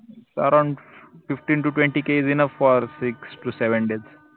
fifteentotwentyKisenoughforsixtosevendays